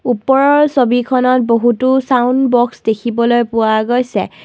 ওপৰৰ ছবিখনত বহুতো চাউণ্ড বক্স দেখিবলৈ পোৱা গৈছে।